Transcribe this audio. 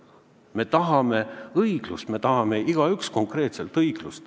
Me tahame õiglust, me tahame igaüks konkreetselt õiglust.